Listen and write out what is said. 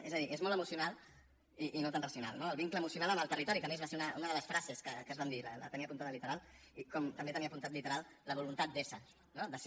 és a dir és molt emocional i no tant racional no el vincle emocional amb el territori que a més va ser una de les frases que es van dir la tenia apuntada literal com també tenia apuntat literal la voluntat d’ésser no de ser